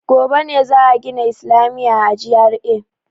Gobe ne za a gina islamiya a GRA.